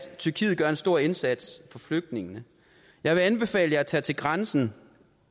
tyrkiet gør en stor indsats for flygtningene jeg vil anbefale jer at tage til grænsen